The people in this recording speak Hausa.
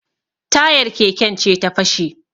Tayar keken ce ta fashe